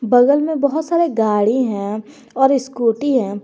बगल में बहुत सारे गाड़ी हैं और स्कूटी हैं।